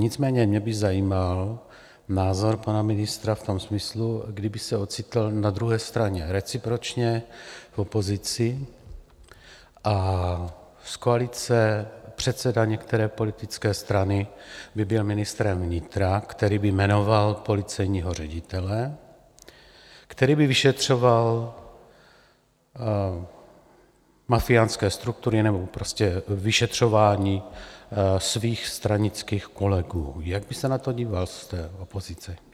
Nicméně mě by zajímal názor pana ministra v tom smyslu, kdyby se ocitl na druhé straně recipročně v opozici, z koalice předseda některé politické strany by byl ministrem vnitra, který by jmenoval policejního ředitele, který by vyšetřoval mafiánské struktury nebo prostě vyšetřování svých stranických kolegů, jak by se na to díval z té opozice?